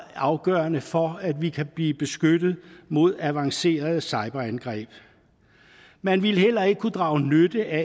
afgørende for at vi kan blive beskyttet mod avancerede cyberangreb man ville heller ikke kunne drage nytte af